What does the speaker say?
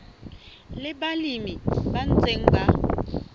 le balemi ba ntseng ba